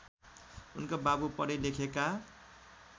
उनका बाबु पढेलेखेका